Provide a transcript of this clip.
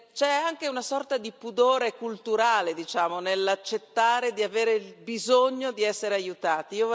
C'è anche una sorta di pudore culturale, diciamo, nell'accettare di avere bisogno di essere aiutati.